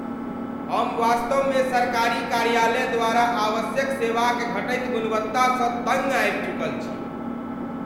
हम वास्तवमे सरकारी कार्यालय द्वारा आवश्यक सेवाक घटैत गुणवत्तासँ तङ्ग आबि चुकल छी।